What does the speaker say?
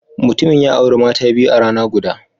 Mutumin ya auri mata biyu a rana guda.